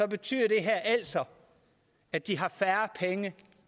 betyder det her altså at de har færre penge